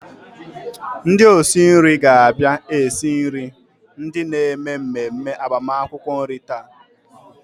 Ndị osi nri ga-abia esiri ndị na-eme mmemme agbamakwụkwọ nri taa.